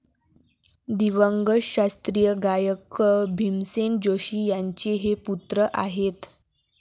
दिवंगत शास्त्रीय गायक पं. भीमसेन जोशी यांचे हे पुत्र आहेत.